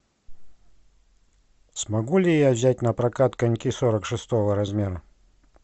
смогу ли я взять на прокат коньки сорок шестого размера